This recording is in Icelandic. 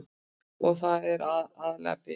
Og þetta er aðallega bið.